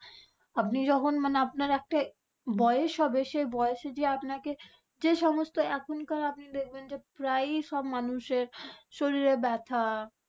আপনি যখন মানে আপনার একটাই বয়স হবে সেই বয়সে যেয়ে আপনাকে যে, সমস্ত এখনকার আপনি দেখবেন যে প্রয়ই সব মানুষের শরীরে ব্যাথা।